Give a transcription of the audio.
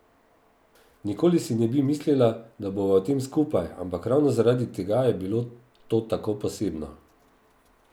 Nikoli si ne bi mislila, da bova v tem skupaj, ampak ravno zaradi tega je bilo to tako posebno.